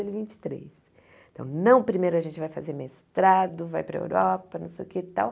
Ele vinte e três então, não primeiro a gente vai fazer mestrado, vai para a Europa, não sei o que e tal.